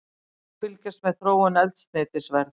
Hér má fylgjast með þróun eldsneytisverðs